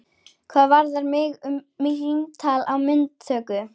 Hvað varðar mig um símtal upp á myndatöku?